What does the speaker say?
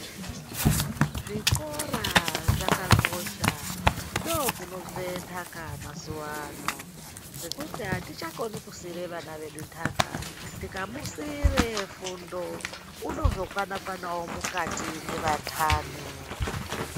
Zvikora zvakakosha ndokunobve ntaka mazuwa ano nekuti atichakoni kusiire vana vedu ntaka tikamusiire fundo unozokwana kwanawo mukati mweva ntani.